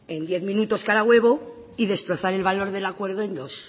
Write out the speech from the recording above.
en diez minutos cada huevo y destrozar el valor del acuerdo en dos